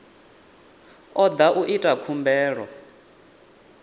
o da u ita khumbelo